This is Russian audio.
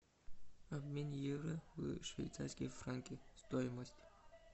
обмен евро в швейцарские франки стоимость